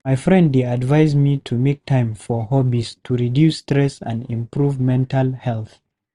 My friend dey advise me to make time for hobbies to reduce stress and improve mental health.